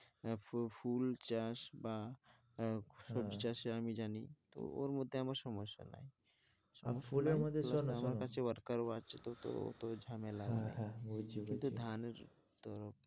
হ্যাঁ, হ্যাঁ ফুল চাষ বা আহ সবজি চাষে আমি জানি, তো ওর মধ্যে আমার সমস্যা নাই সব ফুলের মধ্যে শোনো শোনো, আমার কাছেও worker ও আছে তো ওতো ঝামেলা ধানের তো